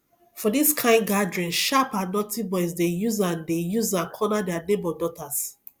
for this kind gathering sharp and naughty boys dey use am dey use am corner their neighbour daughters